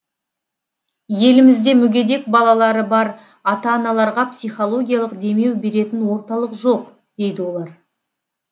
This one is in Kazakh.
елімізде мүгедек балалары бар ата аналарға психологиялық демеу беретін орталық жоқ дейді олар